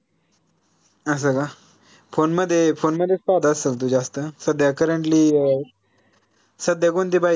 असं का? phone मध्ये phone मध्येच पाहत असलं तू जास्त ना? सध्या currently सध्या कोणती पहिली?